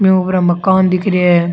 में उपरे मकान दिख रिया है।